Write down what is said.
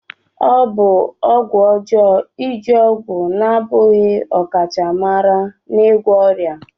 Ọ bụ ọgwụ ọjọọ iji ọgwụ na-abụghị ọkachamara n'ịgwọ ọrịa.